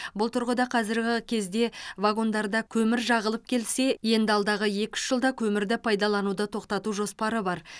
бұл тұрғыда қазіргі кезде вагондарда көмір жағылып келсе енді алдағы екі үш жылда көмірді пайдалануды тоқтату жоспары бар